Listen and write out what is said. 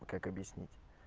как объяснить